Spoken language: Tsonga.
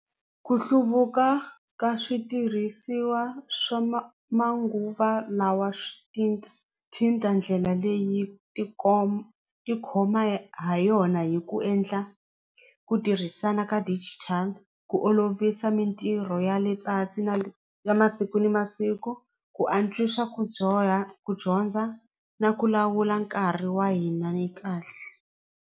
Ku hluvuka ka switirhisiwa swa manguva lawa swi thinda ndlela leyi tikhoma ha yona hi ku endla ku tirhisana ka digital ku olovisa mintirho ya ya masiku na masiku ku antswisa ku dyoha ku dyondza na ku lawula nkarhi wa hina ni kahle.